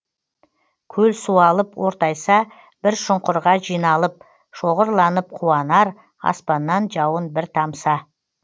көл суалып ортайса бір шұңқырға жиналып шоғырланып қуанар аспаннан жауын бір тамса